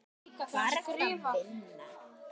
Hvar ertu að vinna?